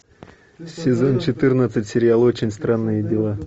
сезон четырнадцать сериал очень странные дела